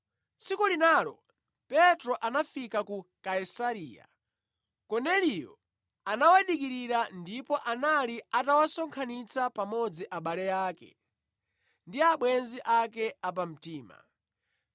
Tsiku linalo Petro anafika ku Kaisareya. Korneliyo anawadikirira ndipo anali atawasonkhanitsa pamodzi abale ake ndi abwenzi ake a pamtima.